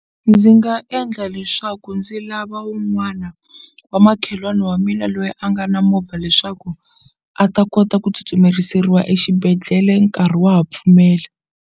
Ndzi nga endla leswaku ndzi lava wun'wana wa makhelwani wa mina loyi a nga na movha leswaku a ta kota ku tsutsumeriseriwa exibedhlele nkarhi wa ha pfumela.